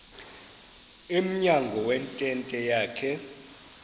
emnyango wentente yakhe